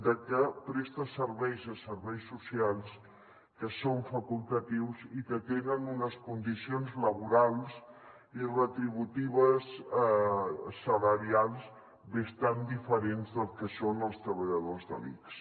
de que presta serveis a serveis socials que són facultatius i que tenen unes condicions laborals i retributives salarials bastant diferents del que són els treballadors de l’ics